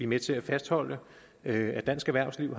med til at fastholde at dansk erhvervsliv